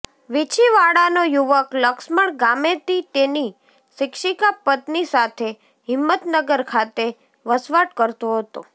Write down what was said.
વીંછીવાડાનો યુવક લક્ષ્મણ ગામેતી તેની શિક્ષિકા પત્નિ સાથે હિંમતનગર ખાતે વસવાટ કરતો હતો